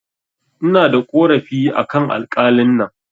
Ina da ƙorafi akan alƙalin nan